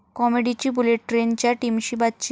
कॉमेडीची bullet ट्रेन'च्या टीमशी बातचीत